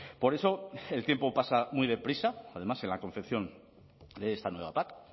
por eso el tiempo pasa muy deprisa además en la confección de esta nueva pac